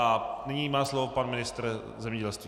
A nyní má slovo pan ministr zemědělství.